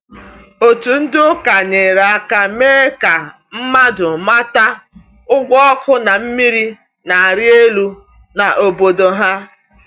Otu ndị ụka nyere aka mee ka mmadụ mata ụgwọ ọkụ na mmiri na-arị elu n’obodo ha.